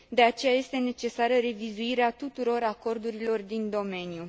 De aceea, este necesară revizuirea tuturor acordurilor din domeniu.